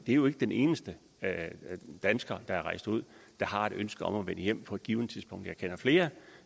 det er jo ikke den eneste dansker der er rejst ud og har et ønske om at vende hjem på et givent tidspunkt jeg kender flere